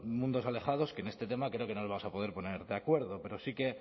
mundos alejados que en este tema creo que no nos vamos a poder poner de acuerdo pero sí que